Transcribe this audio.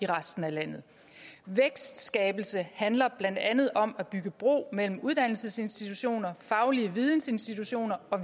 resten af landet vækstskabelse handler blandt andet om at bygge bro mellem uddannelsesinstitutioner faglige vidensinstitutioner og